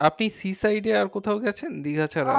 আপনি sea side এ আর কোথাও গেছেন দীঘা ছাড়া